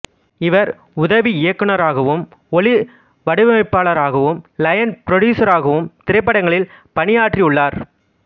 இவர் உதவி இயக்குநராகவும் ஒலி வடிவமைப்பாளராகவும் லைன் புரொடியூசராகவும் திரைப்படங்களில் பணியாற்றியுள்ளார்